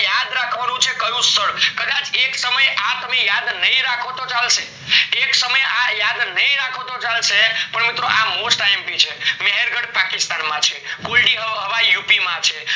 યાદ રાખનું છે કયું સ્થળ કદાચ એક સમયે આ તમે યાદ નાય રાખો તો ચાલશે, એક સમયે આ યાદ નાય રાખો તો ચાલશે પણ મિત્રો આ mostIMP છે મહેર્ગઢ પાકિસ્તાન માં છે કોઈદી હવા યુપી માં છે